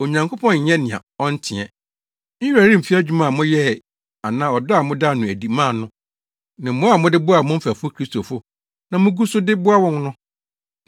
Onyankopɔn nyɛ nea ɔnteɛ. Ne werɛ remfi adwuma a moyɛe anaa ɔdɔ a modaa no adi maa no ne mmoa a mode boaa mo mfɛfo Kristofo na mugu so de boa wɔn no.